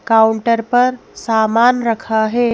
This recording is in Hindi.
काउंटर पर सामान रखा है ।